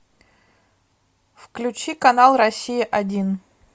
включи канал россия один